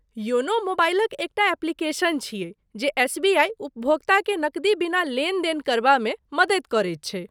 YONO मोबाइलक एकटा application छियै जे एसबीआइ उपभोक्ताकेँ नकदी बिना लेनदेन करबामे मदति करैत छै।